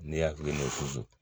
Ne hakili ma